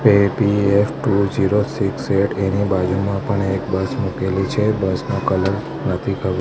APF two zero six eight એની બાજુમાં પણ એક બસ મુકેલી છે બસ નો કલર નથી ખબર.